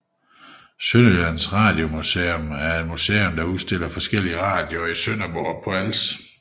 Sønderjyllands Radiomuseum er et museum der udstiller forskellige radioer i Sønderborg på Als